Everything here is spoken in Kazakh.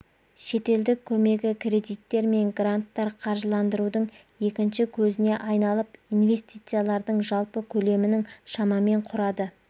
шетелдік көмегі кредиттер мен гранттар қаржыландырудың екінші көзіне айналып инвестициялардың жалпы көлемінің шамамен құрады